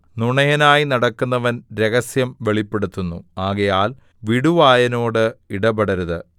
നുണയനായി നടക്കുന്നവൻ രഹസ്യം വെളിപ്പെടുത്തുന്നു ആകയാൽ വിടുവായനോട് ഇടപെടരുത്